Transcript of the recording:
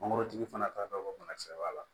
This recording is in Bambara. Mangoro tigi fana t'a dɔn ko bana kisɛ b'a la